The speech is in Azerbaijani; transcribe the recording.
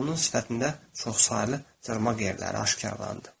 Onun sifətində çoxsaylı cırmağ yerləri aşkarlandı.